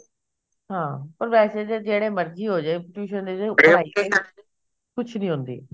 ਹਾਂ ਪਰ ਵੈਸੇ ਤਾਂ ਜਿਹੜੇ ਮਰਜੀ ਹੋਜੇ tuition ਦੇ ਵਿੱਚ ਪੜ੍ਹਾਈ ਕੁੱਛ ਨੀ ਹੁੰਦੀ